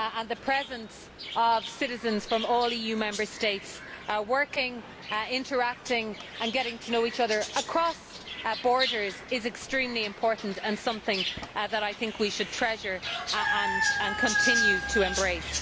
The presence of citizens from all EU Member States working, interacting and getting to know each other across borders is extremely important, and something that we should treasure and continue to embrace.